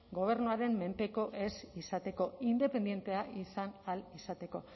gobernuaren menpeko ez izateko independentea izan ahal izateko